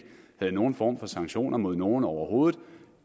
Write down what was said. havde nogen form for sanktioner mod nogen overhovedet